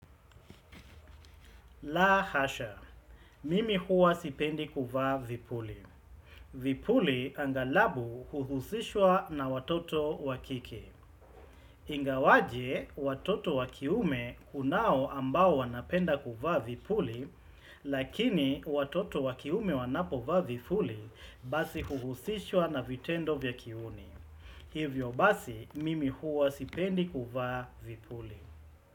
La hasha, mimi huwa sipendi kuvaa vipuli. Vipuli angalabu huhusishwa na watoto wakike Ingawaje, watoto wakiume kunao ambao wanapenda kuvaa vipuli, lakini watoto wakiume wanapo vaa vipuli basi huhusishwa na vitendo vya kiuni. Hivyo basi, mimi huwa sipendi kuvaa vipuli.